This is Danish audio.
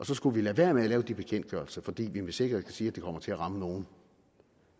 så skulle lade være med at lave de bekendtgørelser fordi vi med sikkerhed kan sige at det kommer til at ramme nogle